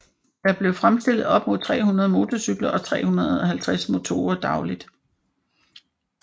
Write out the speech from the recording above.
Der blev fremstillet op til 300 motorcykler og 350 motorer dagligt